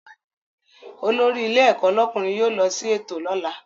Olórí ilé ẹ̀kọ́ lọ́kùnrin yóò lọ sí ètò lọ́la